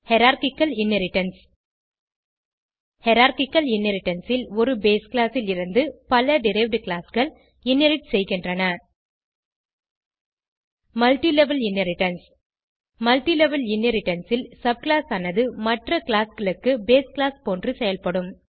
hierarchical inheritance hierarchical inheritance ல் ஒரு base class லிருந்து பல டெரைவ்ட் classகள் இன்ஹெரிட் செய்கின்றன மல்ட்டிலெவல் இன்ஹெரிடன்ஸ் மல்ட்டிலெவல் இன்ஹெரிடன்ஸ் ல் சப்கிளாஸ் ஆனது மற்ற classகளுக்கு பேஸ் கிளாஸ் போன்று செயல்படும்